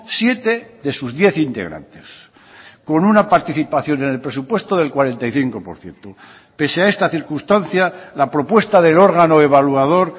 siete de sus diez integrantes con una participación en el presupuesto del cuarenta y cinco por ciento pese a esta circunstancia la propuesta del órgano evaluador